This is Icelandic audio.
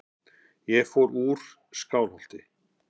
Ég fór úr Skálholti.